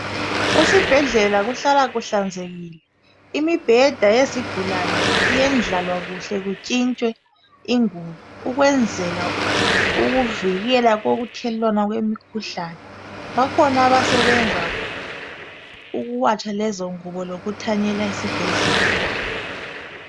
Esibhedlela kuhlala kuhlanzekile, imibheda yezigulane iyendlalwa kuhle intshintshwe izinggubo. Bakhona abasebenza ukuwatsha lezongubo lokuthanyela.